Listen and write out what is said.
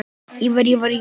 Ívar